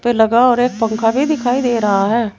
लगा और एक पंखा भी दिखाई दे रहा है।